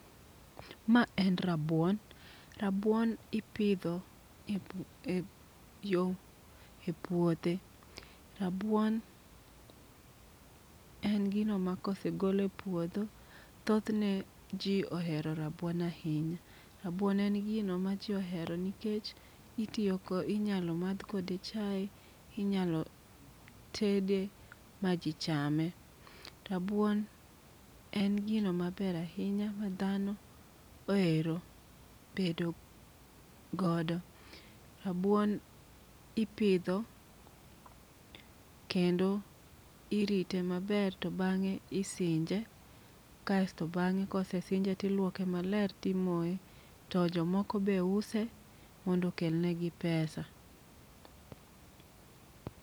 Ma en rabuon. Rabuon ipidho epuothe. Rabuon en gino ma kosegol e puodho rabuon en gino maji ohero ahinya. Rabuon en gino maji ohero nikech anyalo madh kode chae, inyalo tede maji chame . Rabuon en gino mabr ahinya madhano ohero tedo godo, rabuon ipidho kendo irite maber to bang'e isinje to kosesinje to iluoke maber kaeto imoye. To jomoko be use mondo okel negi pesa.